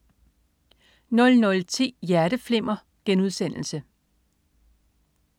00.10 Hjerteflimmer*